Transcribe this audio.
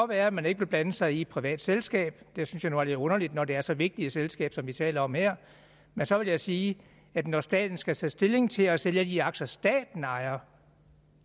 være at man ikke vil blande sig i et privat selskab det synes jeg nu er lidt underligt når det er så vigtigt et selskab som vi taler om her men så vil jeg sige at når staten skal tage stilling til at sælge af de aktier som staten ejer